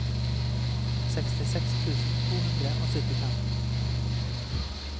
sekstiseks tusen to hundre og syttifem